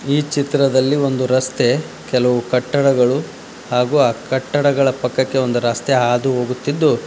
ಈ ಚಿತ್ರದಲ್ಲಿ ಒಂದು ರಸ್ತೆ ಕೆಲವು ಕಟ್ಟಡಗಳು ಹಾಗೂ ಆ ಕಟ್ಟಡಗಳ ಪಕ್ಕಕ್ಕೆ ಒಂದು ರಸ್ತೆ ಹಾದು ಹೋಗುತ್ತಿದ್ದು.